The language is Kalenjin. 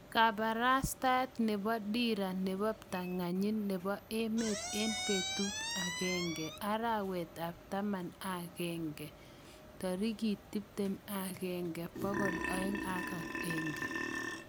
Kaparastaet nepo dira nepo ptanganyit nepo emet en petut ap agenge, arawet ap taman ak agenge 21 201